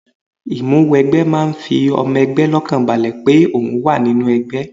Ìmúwẹgbẹ́ máa ń fi ọmọ ẹgbẹ́ lọ́kànbalẹ̀ pé ohun wa nínú ẹgbẹ́